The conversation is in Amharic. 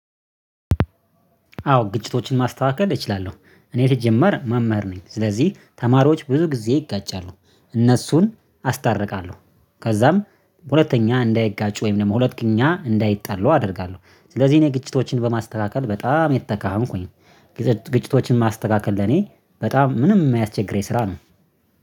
አዎ ግጭቶችን ማስተካከል እችላለሁ እኔ ሲጀመር መምህር ነኝ ስለዚህ ተማሪዎች ብዙ ጊዜ ይጋጫሉ እነሱን አስታርቃለሁ። ከዛም ሁለተኛ እንዳይጋጩ ወይም ደግሞ ሁለተኛ እንዳይጣሉ አደርጋለሁ። ስለዚህ እኔ ግጭቶችን በማስተካከል በጣም የተካህንኩኝ ግጭቶችን ማስተካከል ለኔ በጣም ምንም የማያስቸግረኝ ስራ ነው